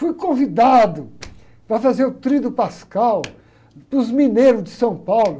Fui convidado para fazer o tríduo pascal para os mineiros de São Paulo.